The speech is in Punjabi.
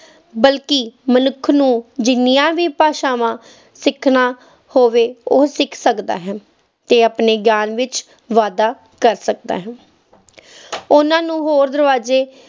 ਬਲਕਿ ਮਨੁੱਖ ਨੂੰ ਜਿੰਨੀਆਂ ਵੀ ਭਾਸ਼ਾਵਾਂ ਸਿੱਖਣਾ ਹੋਵੇ, ਉਹ ਸਿੱਖ ਸਕਦਾ ਹੈ ਤੇ ਆਪਣੇ ਗਿਆਨ ਵਿੱਚ ਵਾਧਾ ਕਰ ਸਕਦਾ ਹੈ ਉਹਨਾਂ ਨੂੰ ਹੋਰ ਦਰਵਾਜ਼ੇ